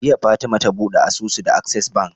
Jiya fatema ta buɗe asusu da access bank